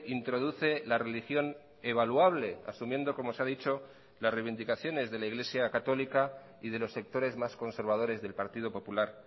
introduce la religión evaluable asumiendo como se ha dicho las reivindicaciones de la iglesia católica y de los sectores más conservadores del partido popular